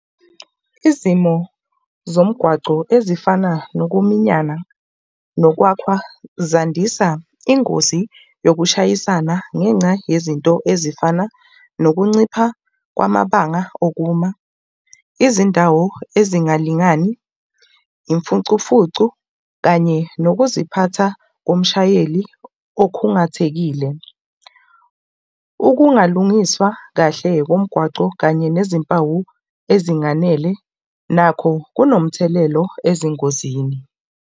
Izimo zomgwaco ezifana nokuminyana nokwakhwa zandisa ingozi yokushayisana ngenca yezinto ezifana nokuncipha kwamabanga okuma. Izindawo ezingalingani, imfucumfucu kanye nokuziphatha komshayeli okhungathekile. Ukungalungiswa kahle komgwaco kanye nezimpawu ezinganele nakho kunomthelelo ezingozini.